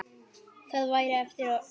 Það væri eftir öllu.